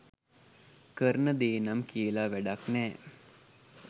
කරන දේ නම් කියල වැඩක් නෑ.